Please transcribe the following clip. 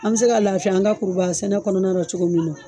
An bɛ se ka lafiya an ka kuruba sɛnɛ kɔnɔna la cogo min na.